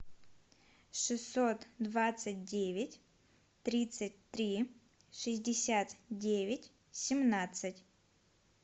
шестьсот двадцать девять тридцать три шестьдесят девять семнадцать